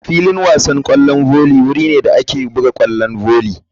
Filin wasan kwallon volley wuri ne da ake buga kwallon volley.